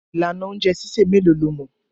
Ìlànà oúnjẹ sísè mélòó lo mọ̀?